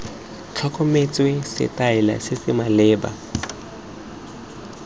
tlhokometswe setaele se se maleba